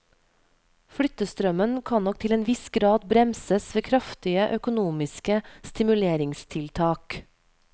Flyttestrømmen kan nok til en viss grad bremses ved kraftige økonomiske stimuleringstiltak.